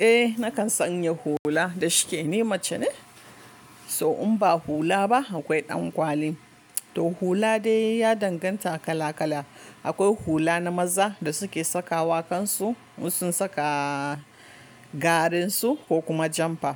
Eh, na kan sanya hula. Da shike ne mace ne, so in ba hula ba akwai ɗan kwali. Toh hula dai ya danganta kala-kala. Akwai hula na maza da suke saka wa kansu, in sun saka garen su ko kuma jamfa.